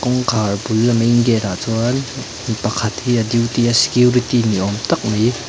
kawngkhar bul a main gate ah chuan mipakhat hi a duty a security ni awm tak mai--